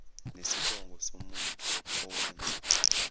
nesibongo somuntu owenza